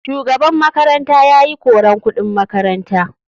Shugaban makaranta yayi koran kuɗin makaranta.